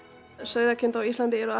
sauðkindur á Íslandi eru